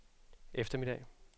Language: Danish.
eftermiddag